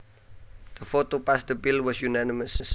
The vote to pass the bill was unanimous